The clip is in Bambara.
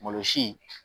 Malosi